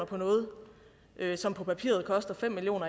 på noget som på papiret koster fem million